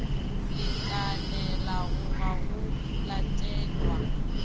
lekanelago ga go a latelwa